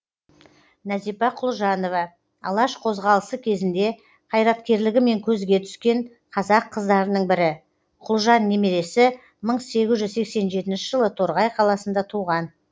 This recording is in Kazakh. нәзипа құлжанова алаш қозғалысы кезінде қайраткерлігімен көзге түскен қазақ қыздарының бірі құлжан немересі мың сегіз жүз сексен жетінші жылы торғай қаласында туған